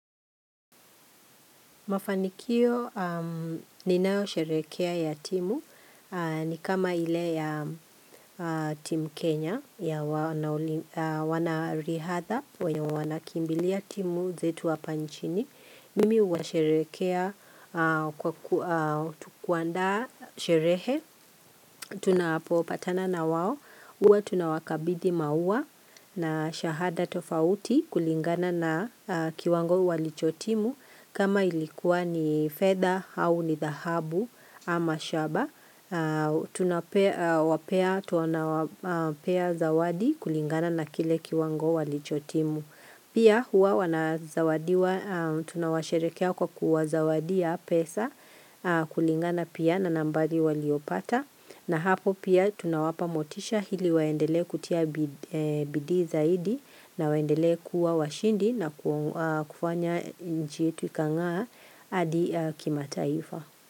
Mafanikio ninaosherekea ya timu ni kama ile ya timu Kenya ya wanao wanarihadha wenye wanakimbilia timu zetu hapa nchini. Mimi huwasherehekea kwa kuaa kuandaa sherehe, tunapopatana na waw, huwa tunawakabidhi maua na shahada tofauti kulingana na kiwango walichotimu kama ilikuwa ni fedha au ni dahabu ama shaba. Tunapea, wapea tunawapea zawadi kulingana na kile kiwango walichotimu. Pia huwa wanazawadiwa tunawasherekea kwa kuwazawadia pesa kulingana pia na nambari waliopata na hapo pia tunawapa motisha hili waendelee kutia bid bidii zaidi na waendelee kuwa washindi na kufanya nchi yetu ikangaa hadi kimataifa.